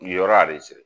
Yen yɔrɔ